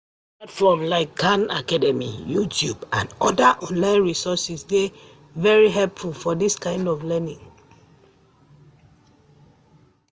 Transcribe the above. Platforms like khan academy, YouTube and oda online resources dey very helpful for dis kind of learning